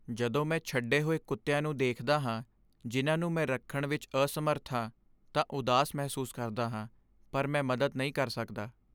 ਜਦੋਂ ਮੈਂ ਛੱਡੇ ਹੋਏ ਕੁੱਤਿਆਂ ਨੂੰ ਦੇਖਦਾ ਹਾਂ ਜਿਨ੍ਹਾਂ ਨੂੰ ਮੈਂ ਰੱਖਣ ਵਿੱਚ ਅਸਮਰੱਥ ਹਾਂ ਤਾਂ ਉਦਾਸ ਮਹਿਸੂਸ ਕਰਦਾ ਹਾਂ ,ਪਰ ਮੈਂ ਮਦਦ ਨਹੀਂ ਕਰ ਸਕਦਾ।